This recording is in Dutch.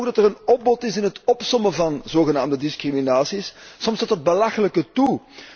Wij merken ook dat er een opbod is in het opsommen van zogenaamde discriminatie, soms tot het belachelijke toe.